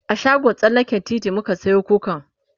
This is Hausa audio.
a shagon tsallaken titi muka Sayo kukan